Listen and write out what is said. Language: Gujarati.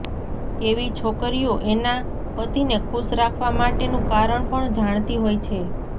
એવી છોકરીઓ એના પતિને ખુશ રાખવા માટેનું કારણ પણ જાણતી હોય છે